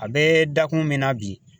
A bɛ dakun min na bi.